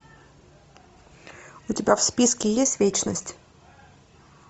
у тебя в списке есть вечность